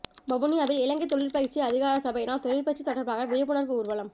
வவுனியாவில் இலங்கை தொழிற் பயிற்சி அதிகாரசபையினால் தொழிற்பயிற்சி தொடர்பாக விழிப்புணர்வு ஊர்வலம்